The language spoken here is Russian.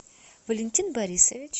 валентин борисович